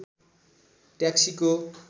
ट्याक्सीको